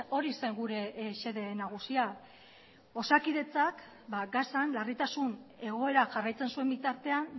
hori zen gure xede nagusia osakidetzak ba gazan larritasun egoera jarraitzen zuen bitartean